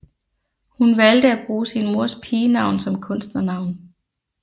Hun valgte at bruge sin mors pigenavn som kunstnernavn